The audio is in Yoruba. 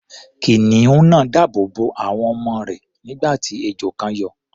Kìnìún náà dáàbò bo àwọn ọmọ rẹ̀, nígbà tí ejò kan yọ.